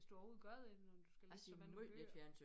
Hvis du overhovedet gør det når du skal læse så mange bøger